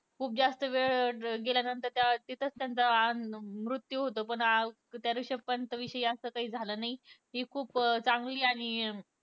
खूप जास्त वेळ अं गेल्या नंतर अं तिथेच त्यांचा अं मृत्यू होतो पण अं वृषभ पंत विषयी असं काही झालं नाही हि खुप अं चांगली आणि अं